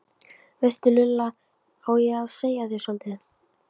veistu Lulla, á ég að segja þér soldið?